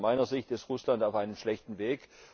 Aus meiner Sicht ist Russland auf einem schlechten Weg.